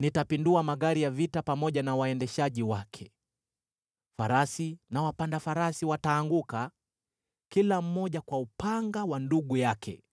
Nitapindua magari ya vita pamoja na waendeshaji wake; farasi na wapanda farasi wataanguka, kila mmoja kwa upanga wa ndugu yake.